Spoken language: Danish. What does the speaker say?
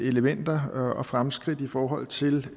elementer og fremskridt i forhold til